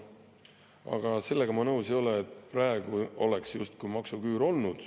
Aga sellega ma nõus ei ole, et praegu on justkui maksuküür.